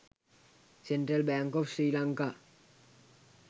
central bank of sri lanka